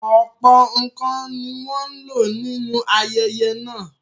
Ọ̀pọ̀ nǹkan ni wọ́n ń lò nínú ayẹyẹ náà.